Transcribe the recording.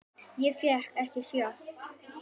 Ég fékk ekki sjokk.